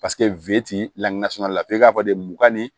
Paseke lafe k'a fɔ de mugan ni